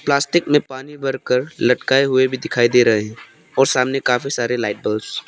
plastic में पानी भरकर लटकाए हुए भी दिखाई दे रहे और सामने काफी सारे लाइट बल्बस --